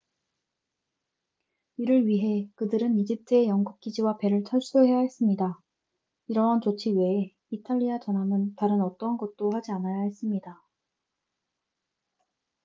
이를 위해 그들은 이집트의 영국 기지와 배를 철수해야 했습니다 이러한 조치 외에 이탈리아 전함은 다른 어떠한 것도 하지 않아야 했습니다